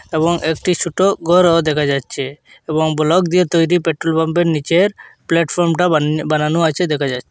এবং একটি ছোটো ঘরও দেখা যাচ্ছে এবং ব্লক দিয়ে তৈরি পেট্রোলপাম্পের নীচের প্লাটফর্মটা বানানো বানানো আছে দেখা যাচ্ছে।